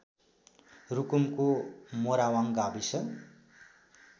रुकुमको मोरावाङ गाविस